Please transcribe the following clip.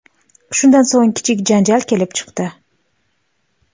Shundan so‘ng, kichik janjal kelib chiqdi.